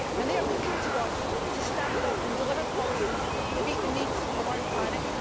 They are looking to us to stand up and deliver policies that meet the needs of our planet.